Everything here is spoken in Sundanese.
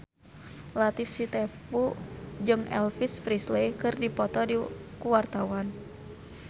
Latief Sitepu jeung Elvis Presley keur dipoto ku wartawan